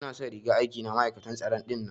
Ina son rigar aiki na ma'aikatan tsaro dinnan.